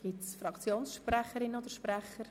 Gibt es Fraktionssprecherinnen oder -sprecher?